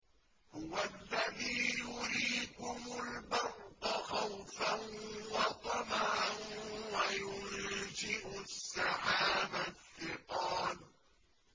هُوَ الَّذِي يُرِيكُمُ الْبَرْقَ خَوْفًا وَطَمَعًا وَيُنشِئُ السَّحَابَ الثِّقَالَ